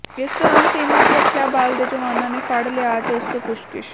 ਇਸ ਦੌਰਾਨ ਸੀਮਾ ਸੁਰੱਖਿਆ ਬਲ ਦੇ ਜਵਾਨਾਂ ਨੇ ਫੜ ਲਿਆ ਅਤੇ ਉਸ ਤੋਂ ਪੁੱਛਗਿਛ